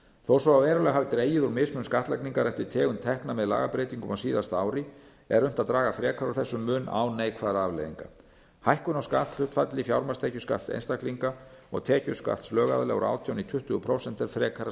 þó svo að verulega hafi dregið úr mismun skattlagningar eftir tegund tekna með lagabreytingum á síðasta ári er unnt að draga frekar úr þessum mun án neikvæðra afleiðinga hækkun á skatthlutfalli fjármagnstekjuskatts einstaklinga og tekjuskatts lögaðila úr átján prósent í tuttugu prósent er frekara